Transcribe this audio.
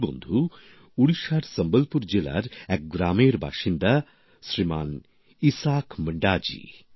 এই বন্ধু উড়িষ্যার সম্বলপুর জেলার এক গ্রামের বাসিন্দা শ্রীমান ইসাক মুন্ডাজি